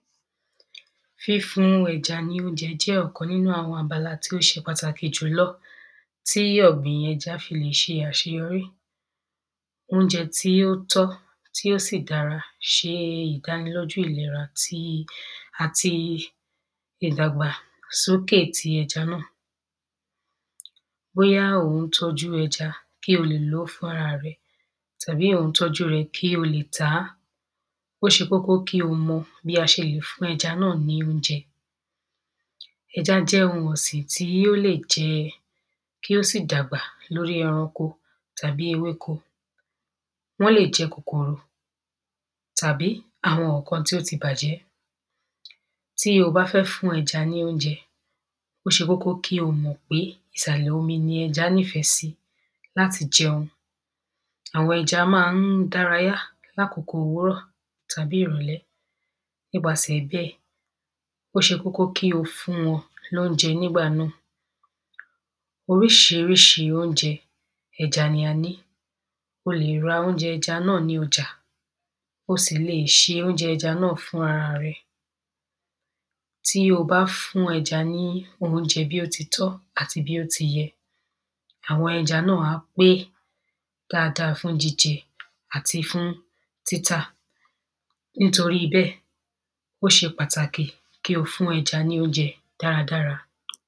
Fífún ẹja ní óúnjẹ jẹ́ ọ̀kan nínú àwọn abala tí ó ṣe pàtàkì jùlọ tí ọ̀gbìn ẹja fi lè ṣe àṣeyọrí. Óúnjẹ tí ó tọ́ tí ó sì dára ṣe ìdánilójú ìlera tí ati ìdàgbàsókè ti ẹja náà bóyá ò ún tọ́jú ẹja náà kí o lè ló fúnra rẹ tàbí ò ń tọ́jú rẹ̀ kí o le tà á. ó ṣe kókó kí o mo bí a ṣe le fún ẹja náà ní óújẹ. Ẹjá jẹ́ ohun ọ̀sìn tó lè jẹ kí ó sì dàgbà lórí ẹranko tàbí ewéko wọ́n le jẹ kòkòrò tàbí àwọn nǹkan tó ti bàjẹ́. Tí o bá fẹ́ fún ẹja lóúnjẹ ó ṣe kókó kí o mọ̀ pé ìsàlẹ̀ omi ni ẹja nífẹ̀ sí láti jẹun. Àwọn ẹja má ń dárayá lákòkò òwúrọ̀ tàbí ìrọ̀lẹ́ nípasẹ̀ bẹ́ẹ̀ ó ṣe kókó kí o fún wọn ní óúnjẹ nígbà mí Oríṣiríṣi óúnjẹ ẹja ni a ní o lè ra óúnjẹ ẹja nâ ní ọjà o sì le ṣe óúnjẹ ẹja náà fún ara rẹ. Tí o bá fún ẹja ní óúnjẹ bí ó ti tọ́ àti bí ó ti yẹ àwọn ẹja náà á pé dáada fún jíjẹ àti fún títà nítorí bẹ́ẹ̀ ó ṣe pàtàkì kí o fún ẹja ní óúnjẹ dáradára.